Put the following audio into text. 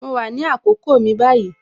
Mo wà ní àkókò mi báyìí